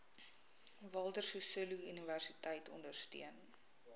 walter sisuluuniversiteit ondersteun